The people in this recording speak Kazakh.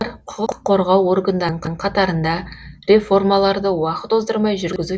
құқық қорғау органдарының қатарында реформаларды уақыт оздырмай жүргізу